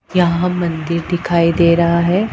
यहां मंदिर दिखाई दे रहा है।